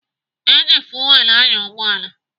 Eji fuwel anya ụgbọala.